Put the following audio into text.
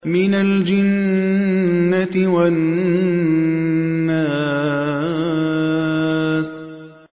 مِنَ الْجِنَّةِ وَالنَّاسِ